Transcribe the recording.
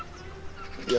ég